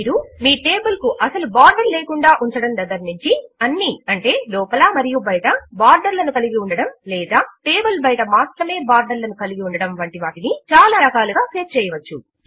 మీరు మీ టేబుల్ కు అసలు బోర్డర్ లేకుండా ఉంచడము దగ్గర నుంచి అన్ని లోపలా మరియు బయటా బోర్డర్ లను కలిగి ఉండడము లేదా టేబుల్ బయట మాత్రమే బోర్డర్ లను కలిగి ఉండడము వంటి వాటిని చాలా రకములుగా సెట్ చేయవచ్చు